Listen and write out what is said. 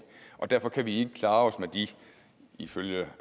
og derfor kan vi ikke klare os med de ifølge